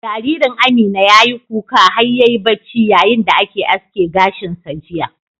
Jaririn Amina ya yi kuka har ya yi bacci yayin da ake aske gashin sa jiya.